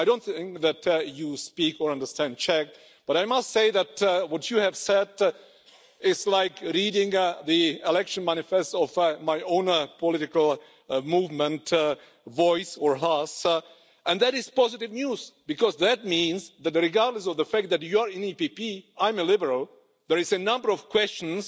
I don't think that you speak or understand Czech, but I must say that what you have said is like reading the election manifesto of my own political movement, Voice or Hlas and that is positive news, because that means that regardless of the fact that you're in the PPE and I'm a Liberal, there are a number of questions